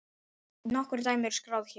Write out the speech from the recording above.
Nokkur dæmi er skráð hér